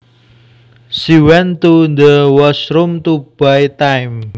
She went to the washroom to buy time